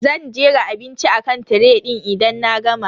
Zan jera abinci akan tiray din idan na gama.